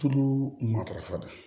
Tulu matarafa